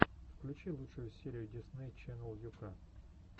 включи лучшую серию дисней ченнел ю ка